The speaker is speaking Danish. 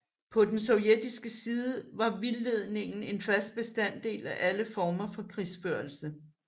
På den sovjetiske side var vildledning en fast bestanddel af alle former for krigsførelse